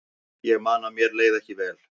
Ég man að mér leið ekki vel.